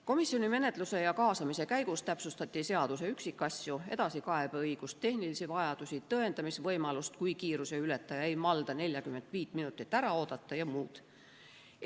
Komisjoni menetluse ja kaasamise käigus täpsustati seaduse üksikasju: edasikaebeõigust, tehnilisi vajadusi, tõendamisvõimalust, juhul kui kiiruseületaja ei malda 45 minutit ära oodata, ja muud.